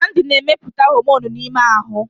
Glandi na-emepụta homonụ n'ime ahụ.